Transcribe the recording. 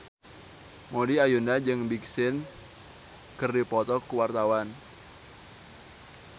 Maudy Ayunda jeung Big Sean keur dipoto ku wartawan